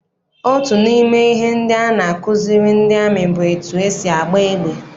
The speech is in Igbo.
Otu n'ime ihe ndị a na-akụziri ndị amị bụ etu esi agba égbà.